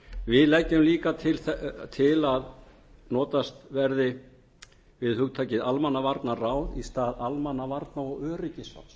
við leggjum líka til að notast verði við hugtökin almannavarnaráð í stað almannavarna og öryggisráðs og